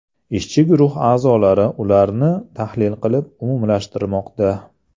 Ishchi guruh a’zolari ularni tahlil qilib, umumlashtirmoqda.